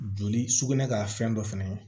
Joli sukunɛ ka fɛn dɔ fɛnɛ